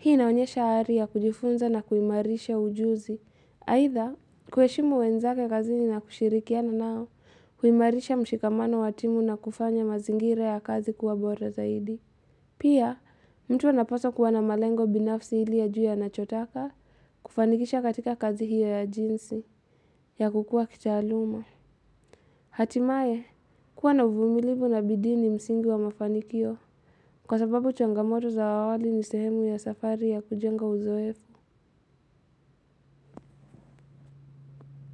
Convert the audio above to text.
Hii naonyesha ari ya kujifunza na kuhimarisha ujuzi, haitha kuheshimu wenzake kazini na kushirikiana nao, kuhimarisha mshikamano wa timu na kufanya mazingira ya kazi kuwa bora zaidi. Pia, mtu anapaswa kuwa na malengo binafsi ili ajue anachotaka, kufanikisha katika kazi hiyo ya jinsi ya kukua kitaaluma Hatimaye, kuwa na uvumilivu na bidii ni msingi wa mafanikio Kwasababu changamoto za awali ni sehemu ya safari ya kujenga uzoefu.